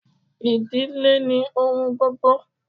Idile ni ohun gbogbo